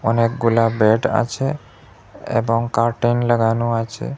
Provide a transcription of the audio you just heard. অনেকগুলা বেড আছে এবং কার্টেইন লাগানো আছে।